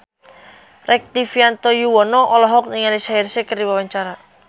Rektivianto Yoewono olohok ningali Shaheer Sheikh keur diwawancara